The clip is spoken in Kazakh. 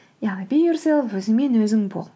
яғни би ерселф өзіңмен өзің бол